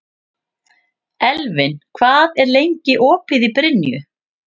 Elvin, hvað er lengi opið í Brynju?